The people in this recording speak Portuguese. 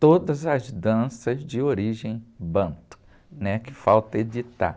Todas as danças de origem banto, né Que falta editar.